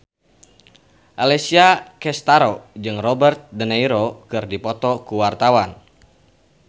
Alessia Cestaro jeung Robert de Niro keur dipoto ku wartawan